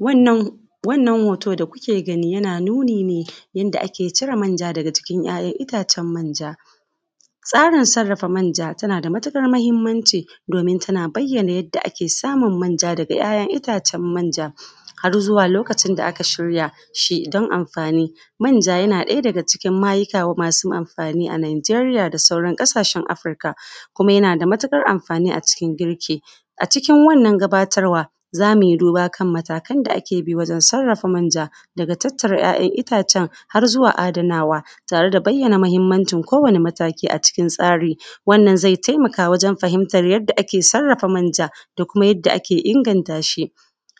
Wannan wannan hoto da kuke gani, yana nuni ne yanda ake cire manja daga jikin itatcen manja. Tsarin sarrafa manja, tana da matuƙar muhimmanci domin tana bayyana yadda ake samun manja daga ‘ya’yan itacen manja. Har zuwa lokacin da aka shirya shi don amfani. Manja yana daga cikin mayuka masu amfani a Nijeria da sauran ƙasashen Afirika, kuma yana da matuƙar amfani a cikin girki. A cikin wannan gabatarwa za mui duba kan matakan da ake bi wajen sarrafa manja, daga tattara ‘ya’yan itacen har ya zuwa adanawa, tare da bayyana kowane mataki a cikin tsari. Wannan zai taimaka wajen sani yadda ake sarrafa manja da kuma yadda ake inganta shi.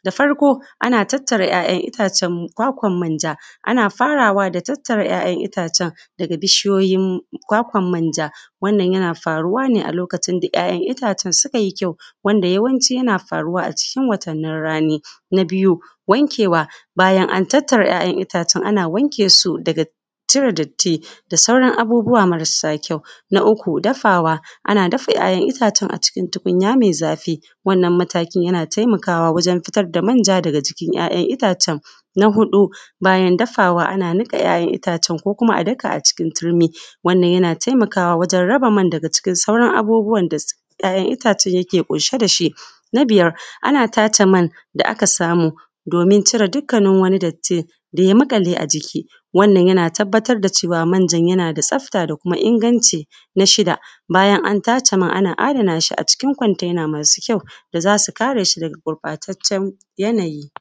Da farko ana tattara ‘ya’yan itacen kwakwan manja, ana faraway da tattara ‘ya’yan itacen daga bishiyoyin kwakwan manja. Wannan yana faruwa a lokacin da ‘ya’yan itacen sukai kyau, wanda yawanci suna faruwa a cikin watannin rani. Na biyu wankewa bayan an tattara ‘ya’yan itacen, ana wanke su daga cire datti da sauran abubuwa marasa kyau. Na uku dafawa, ana dafa ‘ya’yan itacen a cikin tukunya mai zafi. Wannan matakin yana taimakawa wajen fitar da manja daga jikin ‘ya’yan itacen. Na huɗu bayan dafawa, ana niƙa ‘ya’yan itacen ko kuma a daka a cikin turmi, wannan yana taimakawa wajen raba man da sauran abubuwa da ‘ya’yan itacen ke ɗauke da shi. Na biyar ana tace man da aka samu domin cire duk wani datti da ya maƙale a jiki. Wannan yana tabbatar da cewa manjan yana da tsafta da kuma inganci. Na shida bayan an tace man, ana adana shi acikin kwantena masu kyau da za su kare shi daga gurɓataccen yanayi.